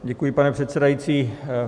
Děkuji, pane předsedající.